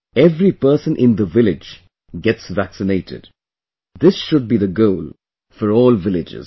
Every person in the village gets vaccinated this should be the goal for all villages